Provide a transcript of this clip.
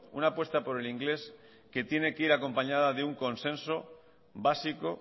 una apuesta por el inglés que tiene que ir acompañada de un consenso básico